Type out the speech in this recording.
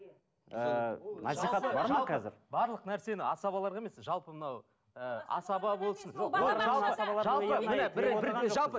ы барлық нәрсені асабаларға емес жалпы мынау ы асаба болсын